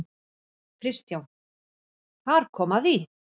KRISTJÁN: Þar kom að því!